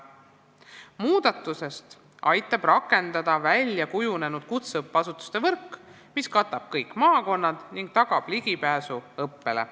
Muudatust aitab rakendada väljakujunenud kutseõppeasutuste võrk, mis katab kõik maakonnad ning tagab ligipääsu õppele.